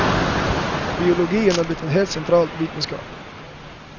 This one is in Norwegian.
Biologien er blitt en helt sentral vitenskap.